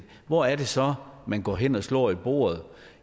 hvor er det så man går hen og slår i bordet